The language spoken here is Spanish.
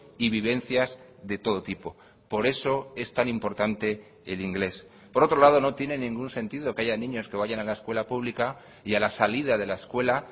y vivencias de todo tipo por eso es tan importante el inglés por otro lado no tiene ningún sentido que haya niños que vayan a la escuela pública y a la salida de la escuela